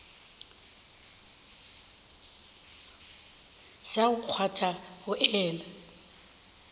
sa go kgwatha go ela